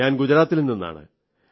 ഞാൻ ഗുജറാത്തിൽ നിന്നാണ്